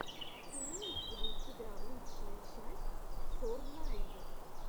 имеется ли у тебя лучшая часть сорнайд